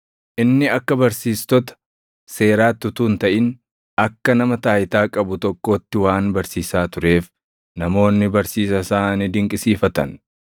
Inni akka barsiistota seeraatti utuu hin taʼin akka nama taayitaa qabu tokkootti waan barsiisaa tureef namoonni barsiisa isaa ni dinqisiifatan.